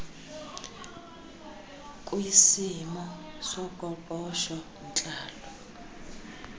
kisimo soqoqosho ntlalo